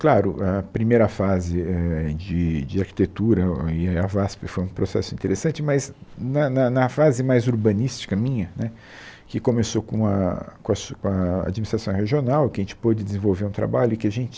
Claro, a primeira fase eh de de arquitetura e a VASP foi um processo interessante, mas na na na fase mais urbanística minha né, que começou com a com a su com a administração regional, que a gente pôde desenvolver um trabalho e que a gente